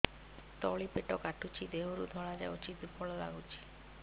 ତଳି ପେଟ କାଟୁଚି ଦେହରୁ ଧଳା ଯାଉଛି ଦୁର୍ବଳ ଲାଗୁଛି